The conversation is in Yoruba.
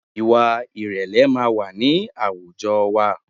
Ìwà ìrẹ̀lẹ̀ máa wà ní àwùjọ wa